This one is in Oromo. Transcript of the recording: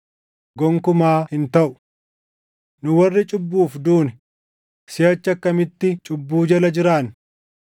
Gonkumaa hin taʼu! Nu warri cubbuuf duune, siʼachi akkamitti cubbuu jala jiraanna?